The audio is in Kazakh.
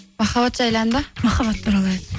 махаббат жайлы ән бе махаббат туралы ән